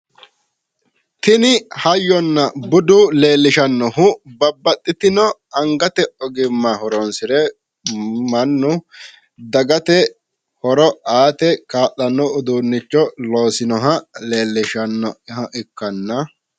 tini hayyona budu leellishannohu babaxitino angate ogimma horonsire mannu dagate horo aate ka'lanno uduunnicho loosinoha leelishshanoha ikkanna.